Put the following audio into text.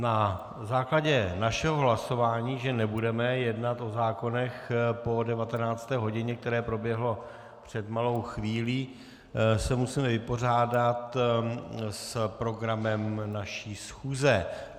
Na základě našeho hlasování, že nebudeme jednat o zákonech po 19. hodině, které proběhlo před malou chvílí, se musíme vypořádat s programem naší schůze.